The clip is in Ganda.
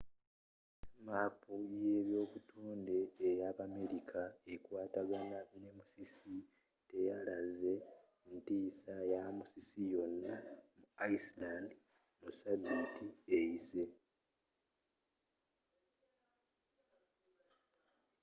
maapu yebyobutonde eyabamerika ekwataagana ne musisi teyalaze ntiisa ya musisi yonna mu iceland mu sabiiti eyise